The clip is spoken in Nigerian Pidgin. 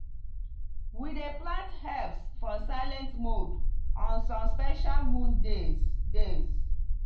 we dey plant herbs for silent mode on some special moon days. days.